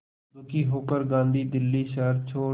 दुखी होकर गांधी दिल्ली शहर छोड़